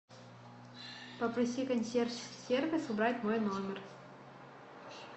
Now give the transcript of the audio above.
попроси консьерж сервис убрать мой номер